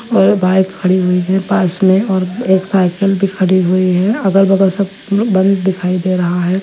और बाइक खड़ी हुई है पास में और एक साइकिल भी खड़ी हुई है। अगल बगल सब बन्द दिखाई दे रहा है।